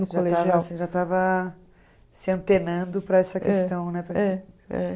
Você já estava se antenando para essa questão, né?